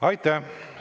Aitäh!